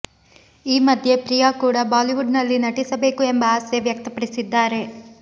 ಈ ಮಧ್ಯೆ ಪ್ರಿಯಾ ಕೂಡ ಬಾಲಿವುಡ್ ನಲ್ಲಿ ನಟಿಸಬೇಕು ಎಂಬ ಆಸೆ ವ್ಯಕ್ತಪಡಿಸಿದ್ದಾರೆ